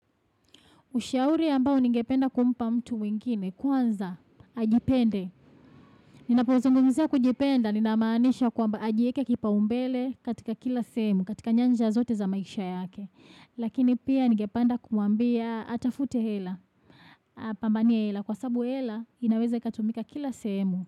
Ushauri ambao ningependa kumpa mtu wengine kwanza ajipende. Ninapo zungumzia kujipenda, ninamaanisha kwamba ajiweke kipaumbele katika kila sehemu, katika nyanja zote za maisha yake. Lakini pia ningependa kumwambia atafute hela, apambanie hela. Kwa sabu hela, inaweza ikatumika kila sehemu.